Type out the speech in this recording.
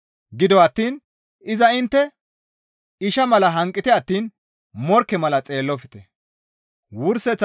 Gido attiin iza intte isha mala hanqite attiin morkke mala xeellofte.